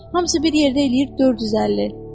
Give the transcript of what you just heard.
Hamısı bir yerdə eləyir 450.